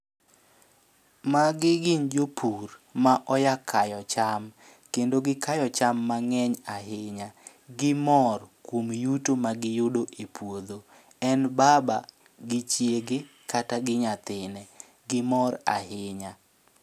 Magi gin jopur ma oya kayo cham, kendo gi kayo cham mang'eny ahinya. Gimor kuom yuto ma giyudo e puodho, en baba gi chiege kata gi nyathine. Gimor ahinya.